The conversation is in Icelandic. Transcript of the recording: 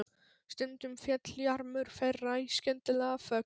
Stundum féll jarmur þeirra í skyndilega þögn.